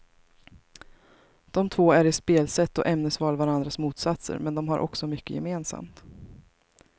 De två är i spelsätt och ämnesval varandras motsatser, men de har också mycket gemensamt.